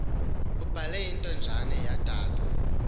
ubale intonjane yodade